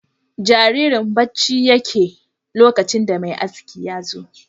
Jaririn bacci yake lokacin da mai askin yazo